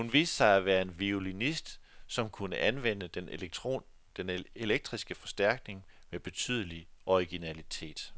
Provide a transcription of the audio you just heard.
Hun viste sig at være en violinist, som kunne anvende den elektriske forstærkning med betydelig originalitet.